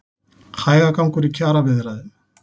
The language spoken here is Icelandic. Hægagangur í kjaraviðræðum